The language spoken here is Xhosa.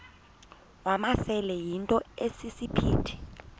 wamasele yinto esisiphithi